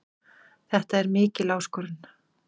Þetta er mikil áskorun.